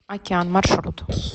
океан маршрут